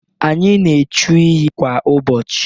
Anyị na echu iyi kwa ụbọchị.